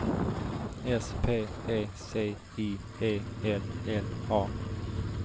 S P E C I E L L A